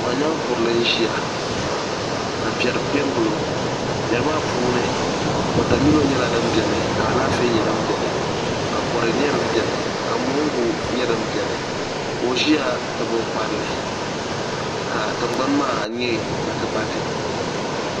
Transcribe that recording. Paɣanyeenkurili n ʒiya ka piɛri piɛ n gili o piɛri maa puuni watamilo nyela din beni ka alaafee nye din beni ka kodu nye din beni ka mongu nye din beni ko o ʒeya tabi o kparili ka tingbani maa nye patipati.